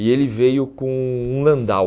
E ele veio com um Landau.